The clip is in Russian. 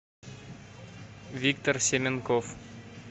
виктор семенков